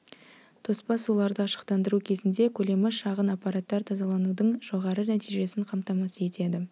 тоспа суларды ашықтандыру кезінде көлемі шағын аппараттар тазаланудың жоғары нәтижесін қамтамасыз етеді